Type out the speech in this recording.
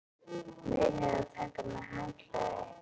Munið að taka með handklæði!